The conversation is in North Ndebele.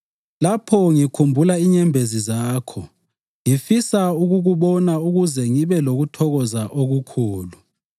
Lapho ngikhumbula inyembezi zakho, ngifisa ukukubona ukuze ngibe lokuthokoza okukhulu.